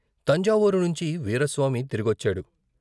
తంజావూరు నుంచి వీరాస్వామి తిరిగొచ్చాడు.